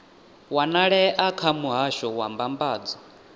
wanalea kha muhasho wa mbambadzo